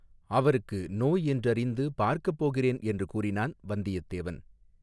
அவருக்கு நோய் என்றறிந்து பார்க்கப் போகிறேன் என்று கூறினான் வந்தியத்தேவன்.